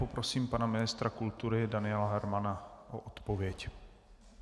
Poprosím pana ministra kultury Daniela Hermana o odpověď.